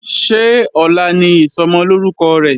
Ṣé ọ̀la ni Ìsọmọlórúkọ rẹ̀?